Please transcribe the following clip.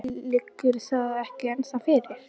Lillý: Liggur það ekki ennþá fyrir?